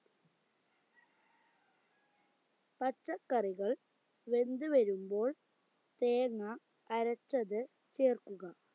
പച്ചക്കറികൾ വെന്തു വരുമ്പോൾ തേങ്ങാ അരച്ചത് ചേർക്കുക